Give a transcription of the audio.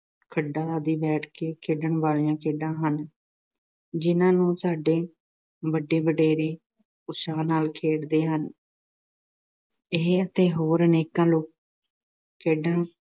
ਖੱਡਾ ਆਦਿ ਬੈਠ ਕੇ ਖੇਡਣ ਵਾਲੀਆਂ ਖੇਡਾਂ ਹਨ ਜਿਨ੍ਹਾਂ ਨੂੰ ਸਾਡੇ ਵੱਡੇ-ਵਡੇਰੇ ਉਤਸ਼ਾਹ ਨਾਲ ਖੇਡਦੇ ਹਨ। ਇਹ ਅਤੇ ਹੋਰ ਅਨੇਕਾਂ ਲੋਕ-ਖੇਡਾਂ